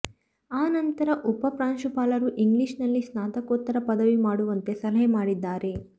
ಆ ನಂತರ ಉಪ ಪ್ರಾಂಶುಪಾಲರು ಇಂಗ್ಲಿಷ್ ನಲ್ಲಿ ಸ್ನಾತಕೋತ್ತರ ಪದವಿ ಮಾಡುವಂತೆ ಸಲಹೆ ಮಾಡಿದ್ದಾರೆ